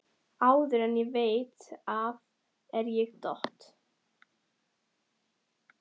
Áður en ég veit af er ég dott